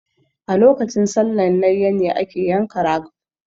A lokacin sallan layya ne ake yanka ragp